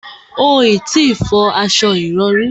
O ò tí ì fọ aṣo ìrọrí